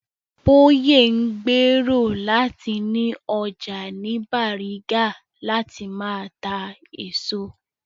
Bóyè ń gbèrò láti ni ọjà ní Bàrígà láti máa ta èso